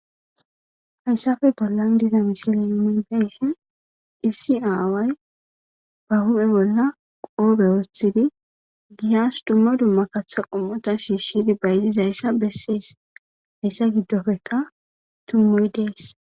Haysappe bollan diza misile nuni beyishn issi away ba huphe bolla qope wothidi giyasi duma duma katha qomota shishidi bayizizays beses, haysa gidoppeka tumoyi desi.